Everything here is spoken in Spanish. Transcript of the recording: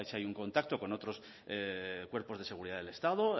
hay un contacto con otros cuerpos de seguridad del estado